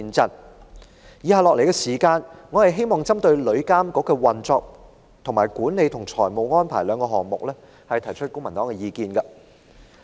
接下來，我希望就旅遊業監管局的運作與管理及財務安排兩方面，提出公民黨的意見。